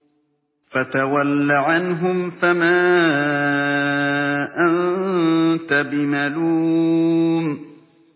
فَتَوَلَّ عَنْهُمْ فَمَا أَنتَ بِمَلُومٍ